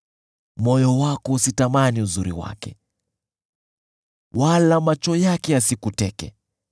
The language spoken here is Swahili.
Moyo wako usitamani uzuri wake wala macho yake yasikuteke,